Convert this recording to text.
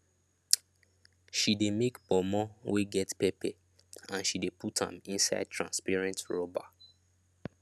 she dey make ponmo wey get pepper and she de put am inside transparent rubber